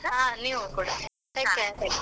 ಆ ನೀವು ಕೂಡ take care.